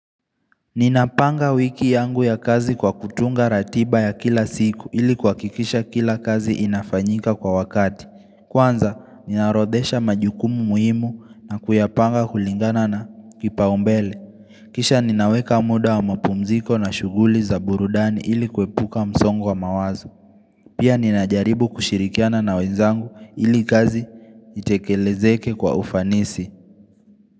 Ninapanga wiki yangu ya kazi kwa kutunga ratiba ya kila siku ili kuhakikisha kila kazi inafanyika kwa wakati. Kwanza, ninaorodhesha majukumu muhimu na kuyapanga kulingana na kipaumbele. Kisha ninaweka muda wa mapumziko na shughuli za burudani ili kuepuka msongo wa mawazo. Pia ninajaribu kushirikiana na wenzangu ili kazi itekelezeke kwa ufanisi.